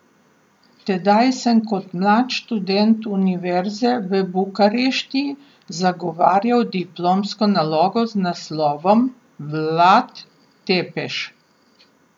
Tedaj sem kot mlad študent univerze v Bukarešti zagovarjal diplomsko nalogo z naslovom Vlad Tepeš.